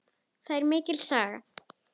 Þetta er mikil saga!